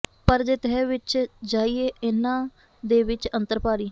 ਪਰ ਜੇ ਤਹਿ ਵਿੱਚ ਜਾਈਏ ਇਨ੍ਹਾਂ ਦੇ ਵਿੱਚ ਅੰਤਰ ਭਾਰੀ